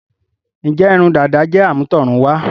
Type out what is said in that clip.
Ǹjẹ́ irun dàda jẹ́ àmútọ̀runwá?